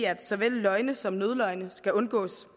at såvel løgne som nødløgne skal undgås